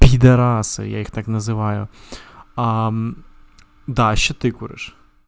пидорас я их так называю аа да ещё ты куришь